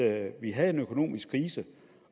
at vi havde en økonomisk krise